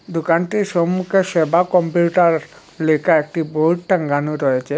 দোকানটির সম্মুখে সেবা কম্পিউটার লেখা একটি বোর্ড টাঙ্গানো রয়েছে।